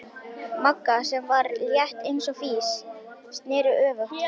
Magga, sem var létt eins og fis, sneri öfugt.